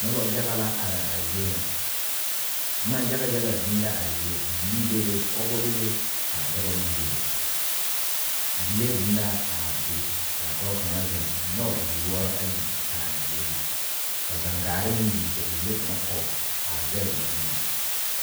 Noba yaga la are a zie ŋa boma yaga yaga biŋ la a zie bibilii bebe pɔgeba bebe ka dɔba meŋ bebe gyile biŋ la a be ka dɔɔ kaŋ zeŋ a nyɔge a gyilloɔra ayi a pare a gyile zu ka gangaare meŋ biŋ ka bibile kaŋ kɔge a zɛge o nuuri.